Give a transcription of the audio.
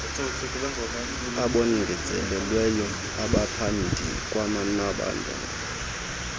abongezelelweyo abaphandi kwanabanye